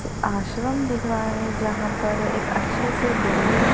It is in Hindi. आश्रम दिख रहा है जहां पर एक अच्छी सी बिल्डिंग है।